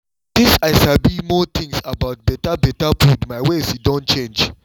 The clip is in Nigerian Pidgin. since i sabi more things about better better food my ways don change